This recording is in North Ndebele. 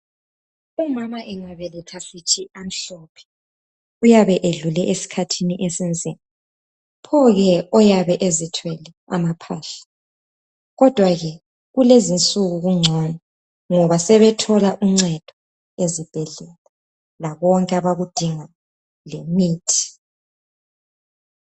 Umama engabeletha sithi amhlophe! Uyabe edlule esikhathini esinzima. Pho ke oyabe ezithwele amaphahla? Kodwa ke kulezinsuku kungcono ngoba sebethola uncedo ezibhedlela lakonke abakudingayo lemithi.